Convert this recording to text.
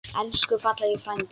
Elsku fallegi frændi.